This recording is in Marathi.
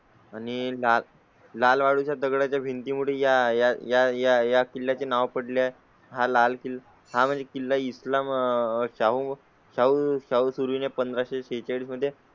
आणि लाल लाल वाळू च्या दगडा च्या भिंती मोठ्या या या किल्ल्या चे नाव पडले. हा लाल किल हां म्हणजे किल्ला इस्लाम आह शाहू साऊथ सुरू आहे. पंधराशे छचाळीस मध्ये